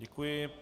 Děkuji.